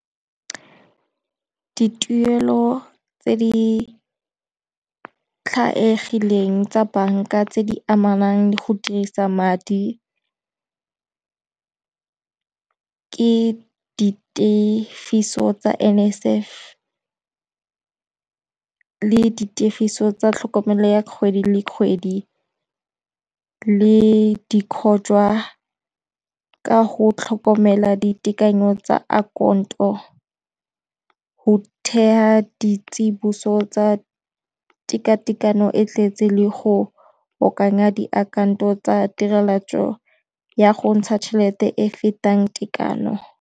Dituelo tse di tlwaelegileng tsa banka tse di amanang le go dirisa madi ke di tifiso tsa NSFAS le di tefiso tsa tlhokomelo ya kgwedi le kgwedi le di khojwa ka go tlhokomela ditekanyo tsa account-o, go theya di tsiboso tsa tekatekanyo e tletse le go akanya diakhaonto tsa tirelo ya go ntsha tšhelete e fetang tekano.